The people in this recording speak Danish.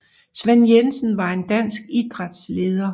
Svend Jensen var en dansk idrætsleder